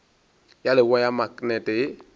ya leboa ya maknete ye